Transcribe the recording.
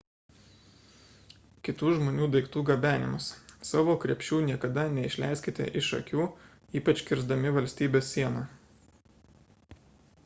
kitų žmonių daiktų gabenimas savo krepšių niekada neišleiskite iš akių ypač kirsdami valstybės sieną